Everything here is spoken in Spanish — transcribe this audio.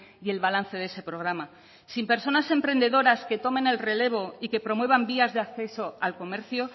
y el balance de ese programa sin personas emprendedoras que tomen el relevo y que promuevan vías de acceso al comercio